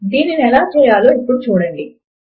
దీనిని ఎలా చేయాలో ఇప్పుడు చూడండి